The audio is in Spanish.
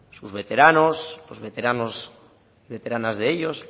sus veteranos los veteranos veteranas de ellos